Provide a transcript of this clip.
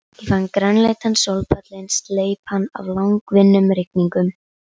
Ég fann grænleitan sólpallinn sleipan af langvinnum rigningum.